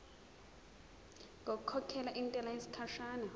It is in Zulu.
ngokukhokhela intela yesikhashana